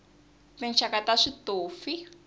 tinxaka ta switofi